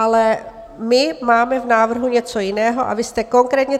Ale my máme v návrhu něco jiného a vy jste konkrétně...